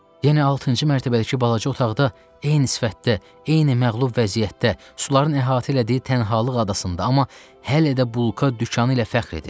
Yenə altıncı mərtəbədəki balaca otaqda, eyni sifətdə, eyni məğlub vəziyyətdə, suların əhatə elədiyi tənhalıq adasında, amma hələ də bulka dükanı ilə fəxr edir.